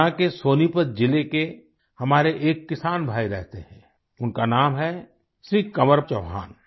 हरियाणा के सोनीपत जिले के हमारे एक किसान भाई रहते हैं उनका नाम हैं श्री कंवर चौहान